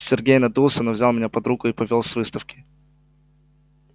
сергей надулся но взял меня под руку и повёл с выставки